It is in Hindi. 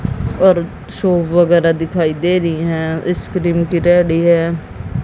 और शो वगैरा दिखाई दे रही है इसक्रीम की रेडी है।